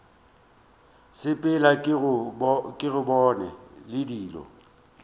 sepela ke go bona dilo